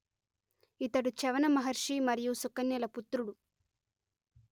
ఇతడు చ్యవన మహర్షి మరియు సుకన్యల పుత్రుడు